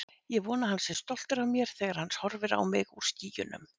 Ég vona að hann sé stoltur af mér þegar hann horfir á mig úr skýjunum.